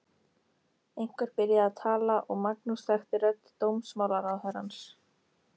Einhver byrjaði að tala og Magnús þekkti rödd dómsmálaráðherrans.